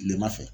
Kilema fɛ